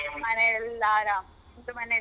ಮನೆಲೆಲ್ಲ ಆರಾಮ್ ನಿಮ್ದು ಮನೆಯಲ್ಲಿ?